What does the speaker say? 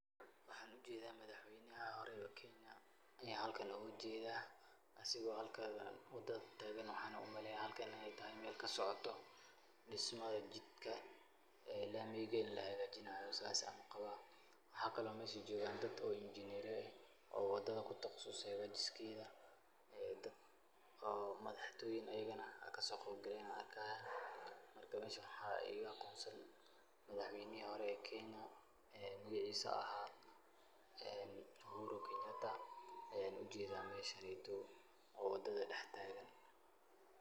Waxaan u jeedaa madaxweynaha hore Kenya ayaa halkan ugu jeeda, asigoo halka wadada taagan. Waxaan u maleynayaa halkan inay tahay meel ka socoto dhismo jidka laamiga in la hagaajinaayo. Saas ayaan u qabaa. Waxa kale oo meesha joogaan dad kale oo injineero ah oo wadada ku takhasusay hagaajinteeda, dad madaxtooyin ah ayigana kasoo qaybgalay ayaan arkayaa. Marka, meesha waxaa iiga aqoonsan madaxweynihii hore Kenya, magaciisu ahaa Uhuru Kenyatta, aan u jeeda meeshaan joogo oo wadada daxtaagan.